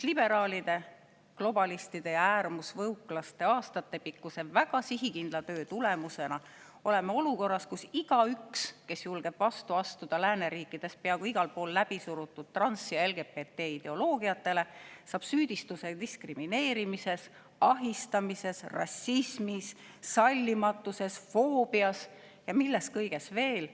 Liberaalide, globalistide ja äärmusvõuklaste aastatepikkuse väga sihikindla töö tulemusena oleme olukorras, kus igaüks, kes julgeb vastu astuda lääneriikides peaaegu igal pool läbi surutud trans‑ ja LGBT-ideoloogiatele, saab süüdistuse diskrimineerimises, ahistamises, rassismis, sallimatuses, foobias ja milles kõiges veel.